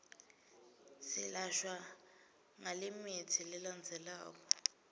silashwa ngalemitsi lelandzelako